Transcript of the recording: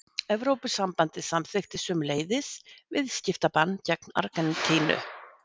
Evrópusambandið samþykkti sömuleiðis viðskiptabann gegn Argentínu.